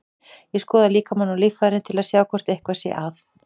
Ég skoða líkamann og líffærin til að sjá hvort eitthvað sé að.